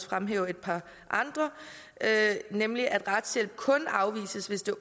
fremhæve et par andre nemlig at retshjælp kun afvises hvis det